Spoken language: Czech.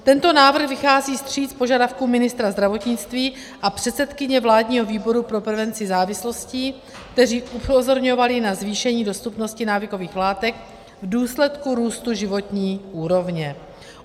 Tento návrh vychází vstříc požadavkům ministra zdravotnictví a předsedkyně vládního výboru pro prevenci závislostí, kteří upozorňovali na zvýšení dostupnosti návykových látek v důsledku růstu životní úrovně.